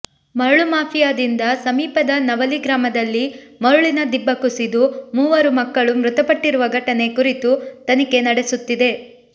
ಮರಳು ಮಾಫಿಯಾದಿಂದ ಸಮೀಪದ ನವಲಿ ಗ್ರಾಮದಲ್ಲಿ ಮರುಳಿನ ದಿಬ್ಬ ಕುಸಿತು ಮೂವರು ಮಕ್ಕಳು ಮೃತಪಟ್ಟಿರುವ ಘಟನೆ ಕುರಿತು ತನಿಖೆ ನಡೆಸುತ್ತಿದೆ